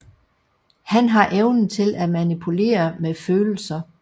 Han har evnen til at manipulere med følelser